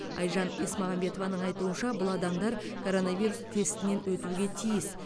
айжан есмағамбетованың айтуынша бұл адамдар коронавирус тестінен өтуге тиіс